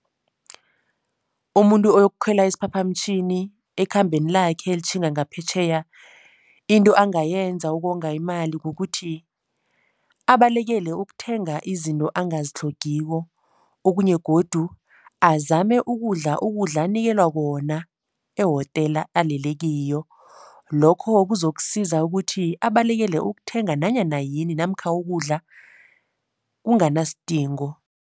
Umuntu ayokukhwela isiphaphamtjhini ekhambeni lakhe elitjhinga ngaphetjheya into angayenza ukonga imali kukuthi abalekele ukuthenga izinto angazitlhogiko. Okunye godu azame ukudla ukudla anikelwa khona ehotela alele kiyo. Lokho kuzokusiza ukuthi abalekele ukuthenga nanyana yini namkha ukudla kunganasidingo.